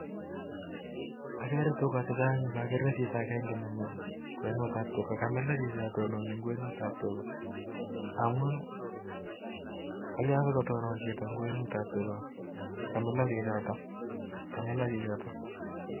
Agere tugaa chechang ak agere Chito netononi Eng kwenut ap.tuga Kamila chichotok amun katonon Eng kwenut ap tuga